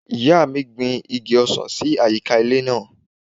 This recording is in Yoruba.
Ìyá mi gbin igi ọsàn sí àyíká ilé náà.